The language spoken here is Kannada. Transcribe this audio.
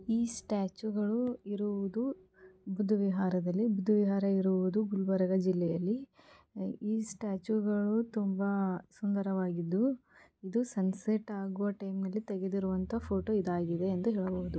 ಈ ಸ್ಟ್ಯಾಟ್ಯೂ ಗಳು ಇರುವುದು ಬುದ್ಧವಿಹಾರದಲ್ಲಿ ಬುದ್ಧವಿಹಾರ ಇರುವುದು ಗುಲ್ಬರ್ಗ ಜಿಲ್ಲೆಯಲ್ಲಿ ಈ ಸ್ಟ್ಯಾಟ್ಯೂ ಗಳು ತುಂಬಾ ಸುಂದರವಾಗಿದ್ದು ಇದು ಸನ್ಸೆಟ್ ಆಗುವ ಟೈಮ್ ಅಲ್ಲಿ ತೆಗೆದಿರುವಂತಹ ಫೋಟೋ ಇದಾಗಿದೆ ಎಂದು ಹೇಳಬಹುದು.